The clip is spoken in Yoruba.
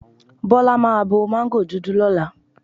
Bọ́lá máa bo mango dúdú lọ́la.